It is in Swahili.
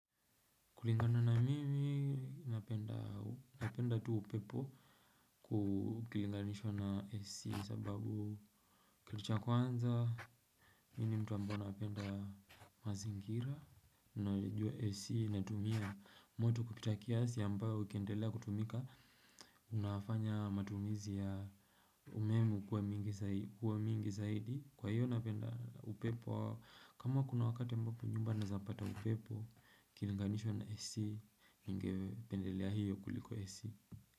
Kulingana na mimi, napenda tu upepo kukilinganishwa na AC sababu kitu cha kwanza. Mimi ni mtu ambao napenda mazingira. Nayajua AC inatumia moto kupita kiasi ambayo ukiendelea kutumika. Unafanya matumizi ya umeme kuwa mingi zaidi. Kwa hiyo napenda upepo. Kama kuna wakati ambapo nyumba naeza pata upepo. Ikilanganishwa na AC ningependelea hiyo kuliko AC.